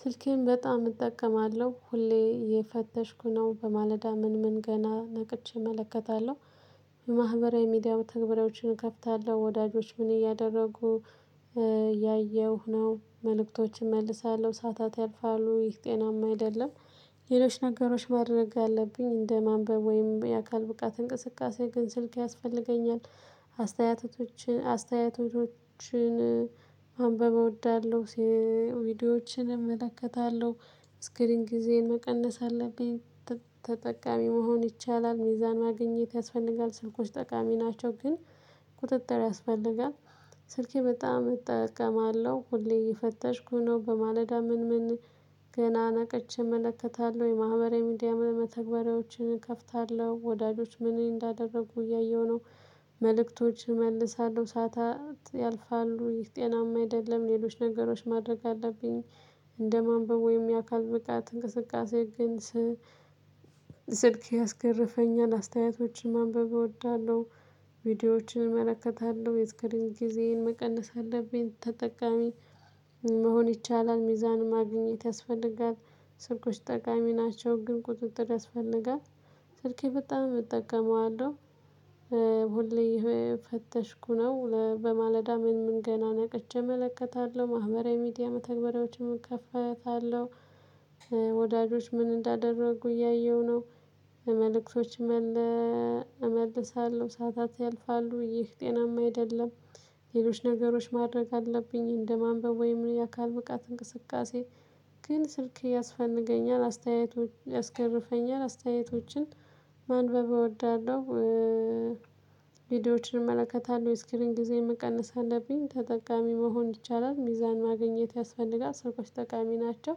ስልኬን በጣም እጠቀማለሁ ሁሌ እየፈተሽኩ ነው በማለዳ ምን ምን ገና ነቅቼ እመለከታለሁ። የማህበራዊ ሚዲያ መተግበሪያዎችን እከፍታለሁ ወዳጆች ምን እያደረጉ ያየሁ ነው መልእክቶችን እመልሳለሁ ሰዓታት ያልፋሉ ይህ ጤናማ አይደለም። ሌሎች ነገሮች ማድረግ አለብኝ እንደ ማንበብ ወይም የአካል ብቃት እንቅስቃሴ ግን ስልክ ያስፈልገኛል። አስተያየቶችን አስተያየቶችን ማንበብ እወዳለሁ። ቪዲዮዎችን እመለከታለሁ ስክሪንግ ጊዜን መቀነስ አለብኝ። ተጠቃሚ መሆን ይቻላል ሚዛን ማግኘት ያስፈልጋል ስልኮች ጠቃሚ ናቸው ግን ቁጥጥር ያስፈልጋል። ስልኬ በጣም እጠቀማለሁ ሁሌ እየፈተሽኩ ነው በማለዳ ምን ምን ገና ነቅቼ እመለከታለሁ የማህበራዊ ሚዲያ መተግበሪያዎችን እከፍታለሁ ወዳጆች ምን እንዳደረጉ እያየሁ ነው። መልእክቶች እመልሳለሁ ሰዓታት ያልፋሉ ይህ ጤናማ አይደለም። ሌሎች ነገሮች ማድረግ አለብኝ። እንደ ማንበብ ወይም የአካል ብቃት እንቅስቃሴ ግን ስልክ ያስገርፈኛል አስተያየቶችን ማንበብ እወዳለሁ። ቪዲዮዎችን እመለከታለሁ የስክሪን ጊዜዬን መቀነስ አለብኝ ተጠቃሚ መሆን ይቻላል ሚዛን ማግኘት ያስፈልጋል። ስልኮች ጠቃሚ ናቸው ግን ቁጥጥር ያስፈልጋል። ስልኬ በጣም እጠቀመዋለሁ። ሁሌ እየፈተሽኩ ነው በማለዳ ምን ምን ገና ነቅቼ እመለከታለሁ ማህበራዊ ሚዲያ መተግበሪያዎችን እከፈታለሁ። ወዳጆች ምን እንዳደረጉ እያየሁ ነው። መልእክቶችም እመልሳለሁ ሰዓታት ያልፋሉ ይህ ጤናማ አይደለም። ሌሎች ነገሮች ማድረግ አለብኝ እንደማንበብ ወይም የአካል ብቃት እንቅስቃሴ። ግን ስልክ ያስፈልገኛል አስተያየቶች ያስገርፈኛል አስተያየቶችን ማንበብ እወዳለሁ። ቪዲዮዎችን እመለከታለሁ ስክሪን ጊዜ መቀነስ አለብኝ ተጠቃሚ መሆን ይቻላል ሚዛን ማግኘት ያስፈልጋል ሰዎች ጠቃሚ ናቸው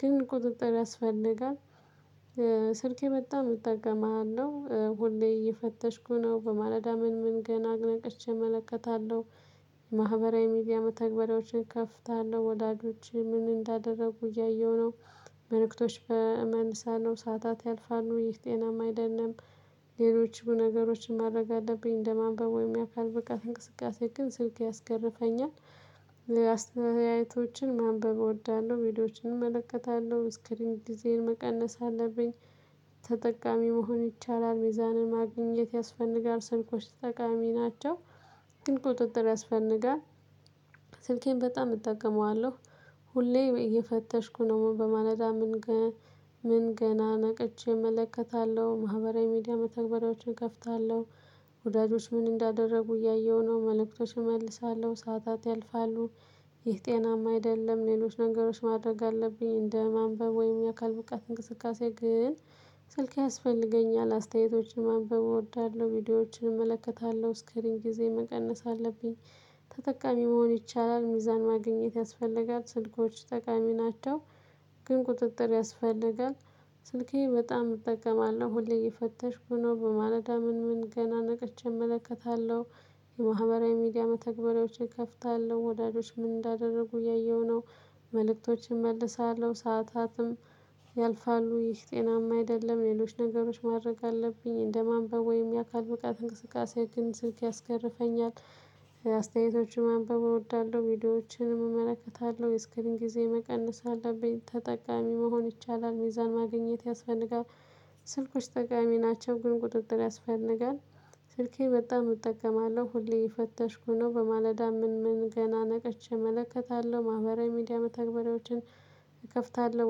ግን ቁጥጥር ያስፈልጋል። ስልኬ በጣም የምጠቀመው ሁሌ እየፈተሽኩ ነው በማለዳ ምን ምን ገና ነቅቼ እመለከታለሁ። ማህበራዊ ሚዲያ መተግበሪያዎችን ከፍታለሁ ወላጆች ምን እንዳደረጉ እያየሁ ነው። መልእክቶች እመልሳለው ሰዓታት ያልፋሉ ይህ ጤናማ አይደለም። ሌሎችም ነገሮች ማድረግ አለብኝ እንደማንበብ ወይም የአካል ብቃት እንቅስቃሴ ግን ስልክ ያስገርፈኛል። አስተያየቶችን ማንበብ እወዳለሁ ቪዲዮዎችን እመለከታለሁ እስክልኝ ጊዜን መቀነስ አለብኝ። ተጠቃሚ መሆን ይቻላል ሚዛንን ማግኘት ያስፈልጋል ሰልኮች ጠቃሚ ናቸው ግን ቁጥጥር ያስፈልጋል። ስልኬን በጣም እጠቀመዋለሁ። ሁሌ እየፈተሽኩ ነው በማለዳ ምን ምን ገና ነቅቼ እመለከታለሁ ማህበራዊ ሚዲያ መተግበሪያዎችን እከፍታለሁ። ወዳጆች ምን እንዳደረጉ እያየሁ ነው መልእክቶች እመልሳለሁ ሰዓታት ያልፋሉ። ይህ ጤናማ አይደለም ሌሎች ነገሮች ማድረግ አለብኝ እንደ ማንበብ ወይም የአካል ብቃት እንቅስቃሴ ግን። ስልክ ያስፈልገኛል አስተያየቶችን ማንበብ እወዳለሁ ቪዲዮዎችን እመለከታለሁ ስክሪን ጊዜ መቀነስ አለብኝ። ተጠቃሚ መሆን ይቻላል ሚዛን ማግኘት ያስፈልጋል ስልኮች ጠቃሚ ናቸው ግን ቁጥጥር ያስፈልጋል። ስልኬ በጣም እጠቀማለሁ ሁሌ እየፈተሽኩ ነው በማለዳ ምን ምን ገና ነቅቼ እመለከታለሁ። የማህበራዊ ሚዲያ መተግበሪያዎችን እከፍታለሁ ወዳዶች ምን እንዳደረጉ እያየሁ ነው። መልእክቶችን እመልሳለሁ ሰዓታትም ያልፋሉ ይህ ጤናማ አይደለም ሌሎች ነገሮች ማድረግ አለብኝ እንደ ማንበብ ወይም የአካል ብቃት እንቅስቃሴ ግን ስልክ ያስከርፈኛል። አስተያየቶችን ማንበብ እወዳለሁ ቪዲዮዎችንም እመለከታለሁ የእስክሪን ጊዜ መቀነስ አለብኝ ተጠቃሚ መሆን ይቻላል ሚዛን ማግኘት ያስፈልጋል። ስልኮች ጠቃሚ ናቸው ግን ቁጥጥር ያስፈልጋል። ስልኬን በጣም እጠቀማለሁ ሁሌ እየፈተሽኩ ነው በማለዳ ምን ምን ገና ነቅቼ እመለከታለሁ ማህበራዊ ሚዲያ መተግበሪያዎችን እከፍታለሁ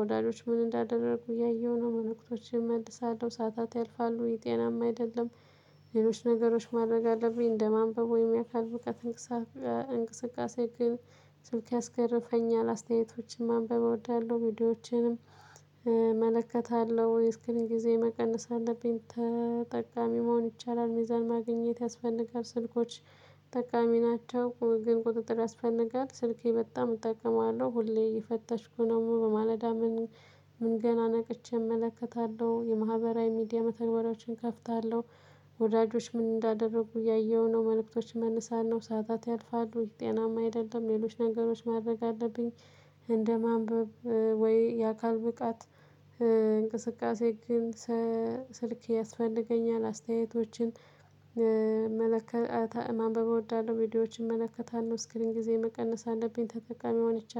ወዳጆች ምን እንዳደረጉ እያየሁ ነው መልክቶችን እመልሳለሁ ሰዓታት ያልፋሉ ይህ ጤናማ አይደለም። ሌሎች ነገሮች ማድረግ አለብኝ እንደማንበብ ወይም ያካል ብቃት። እንቅስቃሴ ግን። ስልክ ያስገርፈኛል አስተያየቶችን ማንበብ እወዳለሁ ቪዲዮዎችንም። እመለከታለሁ የ ስክሪን ጊዜ መቀነስ አለብኝ ተጠቃሚ መሆን ይቻላል ሚዛን ማግኘት ያስፈልጋል ስልኮች። ጠቃሚ ናቸው ግን ቁጥጥር ያስፈንጋል። ስልኬ በጣም እጠቀማለሁ ሁሌ የፈተሽኩ ነው በማለዳ ምን ምን ገና ነቅቼ እመለከታለሁ የማህበራዊ ሚዲያ መተግበሪያዎችን እከፍታለሁ። ወዳጆች ምን እንዳደረጉ እያየሁ ነው መልእክቶች መነሳት ነው ሰዓታት ያልፋሉ ጤናማ አይደለም ሌሎች ነገሮች ማድረግ አለብኝ። እንደማንበብ ወይ የአካል ብቃት እንቅስቃሴ ግን። ስልክ ያስፈልገኛል አስተያየቶችን። መልእክት ማንበብ እወዳለሁ ቪዲዮዎችን እመለከታለሁ ስክሪን ጊዜ መቀነስ አለብኝ ተጠቃሚ ሆነች